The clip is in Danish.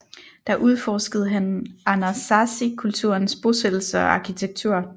Der udforskede han anasazikulturens bosættelser og arkitektur